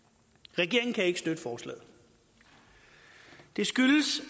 regeringen kan ikke støtte forslaget det skyldes at